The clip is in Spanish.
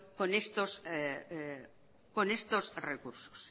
con estos recursos